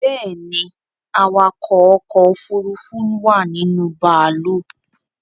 Bẹ́ẹ̀ni, awakọ̀ ọkọ̀ òfurufú wà ninú bàálù